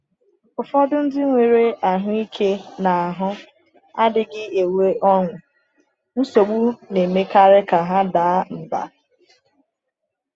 Ụfọdụ ndị nwere ahụ ike n’ahụ adịghị enwe ọṅụ, nsogbu na-emekarị ka ha daa mbà.